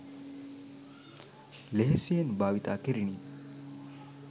ලෙහෙසියෙන් භාවිතා කෙරිණි.